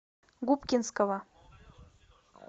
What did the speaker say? губкинского